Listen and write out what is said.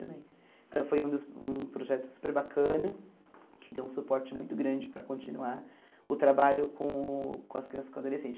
Então foi um dos um projeto super bacana, que deu um suporte muito grande para continuar o trabalho com com as crianças e com o adolescente.